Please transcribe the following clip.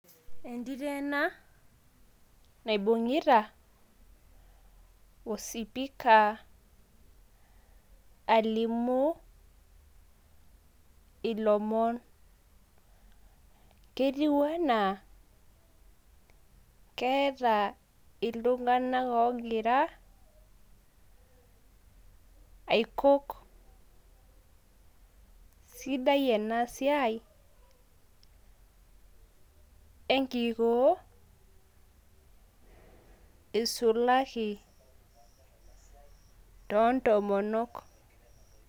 Yiolo ena naibung`ita osipika alimu ilomon netiu enaa keeta itung`anak oogira aikok. Sidai ena siai e nkikoo eisulaki too ntomonok.